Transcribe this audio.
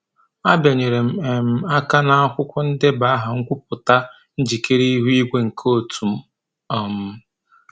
A bịanyere m um aka n'akwụkwọ ndeba aha nkwupụta njikere ihu igwe nke otu m. um